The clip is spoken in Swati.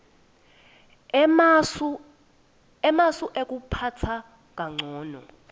emasu ekuphatsa kancono